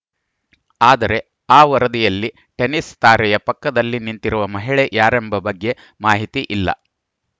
ಆದರೆ ಆ ವರದಿಯಲ್ಲಿ ಟೆನಿಸ್‌ ತಾರೆಯ ಪಕ್ಕದಲ್ಲಿ ನಿಂತಿರುವ ಮಹಿಳೆ ಯಾರೆಂಬ ಬಗ್ಗೆ ಮಾಹಿತಿ ಇಲ್ಲ